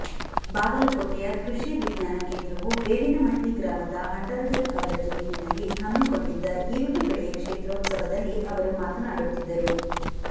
ಬಾಗಲಕೋಟೆಯ ಕೃಷಿ ವಿಜ್ಞಾನ ಕೇಂದ್ರವು ಬೇವಿನಮಟ್ಟಿ ಗ್ರಾಮದ ಹಂಡರಗಲ್ ಅವರ ಜಮೀನಿನಲ್ಲಿ ಹಮ್ಮಿಕೊಂಡಿದ್ದ ಈರುಳ್ಳಿ ಬೆಳೆಯ ಕ್ಷೇತ್ರೌತ್ಸವದಲ್ಲಿ ಅವರು ಮಾತನಾಡುತ್ತಿದ್ದರು